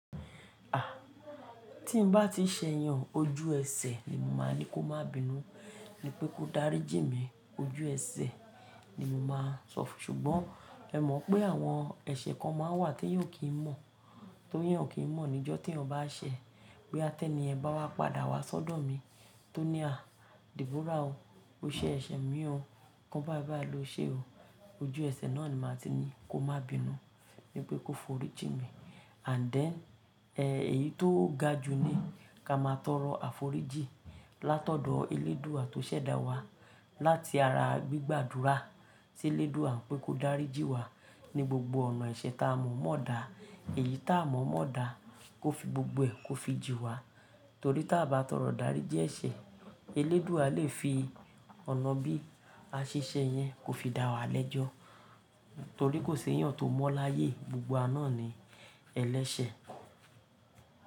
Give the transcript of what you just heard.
Àh, tí n bá ti ṣẹ yàn ojú ẹsẹ̀ ni mo máa ní kó má bínú, ní pé kó dárí jì mí ojú ẹsẹ̀ ni mo máa sọfún. Ṣùgbọ́n ẹ mọ̀ pé àwọn ẹ̀ṣẹ̀ kan máa ń wà teyán ọ kì í mọ̀, teyán kì í mọ̀ níjọ́ tí ọ bá ṣẹ̀. Boya tẹ́ni yẹn bá wá padà wá sọ́dọ̀ mi tó ní àh, Deborah o, o ṣẹ ẹ̀ṣẹ̀ mí o, kan bá bàá lo ṣe o. Ojú ẹsẹ̀ náà ni màá ti ní kó má bínú, ní pé kó forí jì mí. And then, ẹ, èyí tó ga jù ni ká máa tọrọ àforíjì látọ̀dọ̀ Eléédùà tó ṣẹ̀dá wa láti ara gbígbàdúrà sí Eléédùà pé kó dárí jì wa ní gbogbo ọ̀nà ẹ̀ṣẹ̀ ta mọ̀ mọ́ dà, èyí ta mọ̀ mọ́ dà kó fi gbogbo ẹ kó fi jì wa. Torí ta bá tọrọ idarí jí ẹ̀ṣẹ̀, Eléédùà lè fi ọ̀nà bí a ṣe ṣẹ̀ yẹn kó fi dá wa lẹ́jọ́. Torí kò ṣe ẹ́yàn tó mọ́ láyé gbogbo wa náà ni ẹlẹ́sẹ̀.